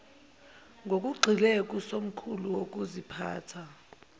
ngokugxile kusomqulu wokuziphatha